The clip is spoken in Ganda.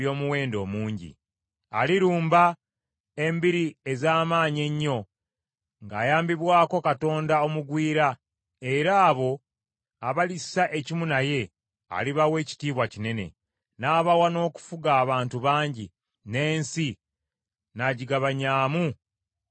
Alirumba embiri ez’amaanyi ennyo ng’ayambibwako katonda omugwira, era abo abalissa ekimu naye, alibawa ekitiibwa kinene, n’abawa n’okufuga abantu bangi, n’ensi n’agigabanyaamu olw’amagoba.